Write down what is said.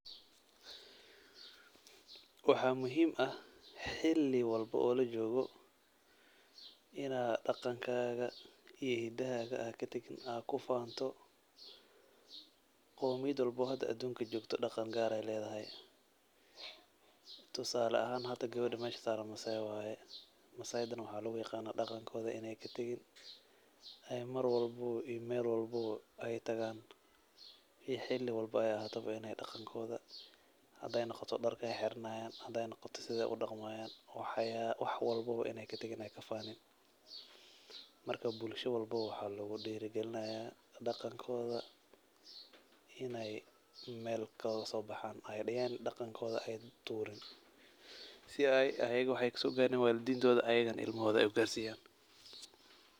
Waxaa muhiim ah xili walbo oo lajoogo inaa daqankaaga ii hidahaaga aa katagin aa kufaanto oo mid walbo hada adunka joogto daqan gaaray ledahay. Tusaale ahaan hada gawada mesha saaran massai waaye masaaidana waxaa lagu aqaanaa daqankooda inaay katagin ay marwalbo ii mel walbo ay tagaan xili walbo ay ahaatabo inaay daqankooda, xadaay noqoto dar aay xiranaayaan, sidaay udaqmaayaan wax walbo ay katagin ay kafaanin. Markaa bulsha walbo waxaa lagu diri galinaayaa daqankooda inaay meel kagasoo baxaan daqankooda ay tuurin si ay ayaga waxaay kasoo gaaren waalidintooda ayagana ilmahooda ay ugarsiiyaan.